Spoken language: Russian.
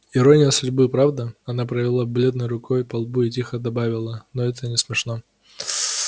ирония судьбы правда она провела бледной рукой по лбу и тихо добавила но это не смешно